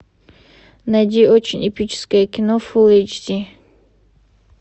найди очень эпическое кино фул эйч ди